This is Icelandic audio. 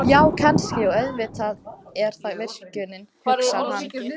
Já, kannski, og auðvitað er það virkjunin, hugsar hann.